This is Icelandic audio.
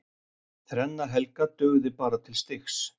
Þrenna Helga dugði bara til stigs